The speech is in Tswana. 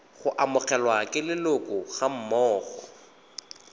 go amogelwa ke leloko gammogo